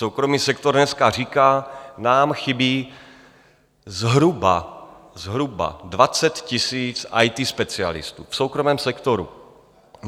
Soukromý sektor dneska říká, nám chybí zhruba 20 000 IT specialistů v soukromém sektoru.